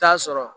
T'a sɔrɔ